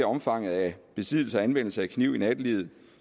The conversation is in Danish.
omfanget af besiddelse og anvendelse af kniv i nattelivet